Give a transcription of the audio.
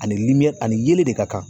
Ani ani yelen de ka kan